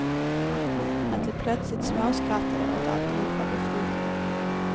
Att de plötsligt småskrattade åt alltihop var befriande.